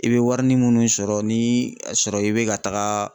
I bɛ warini munnu sɔrɔ ni a sɔrɔ i bɛ ka taga